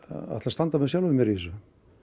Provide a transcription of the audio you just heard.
ætla að standa með sjálfum mér í þessu